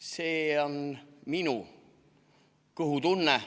See on minu kõhutunne.